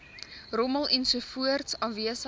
rommel ensovoorts afwesig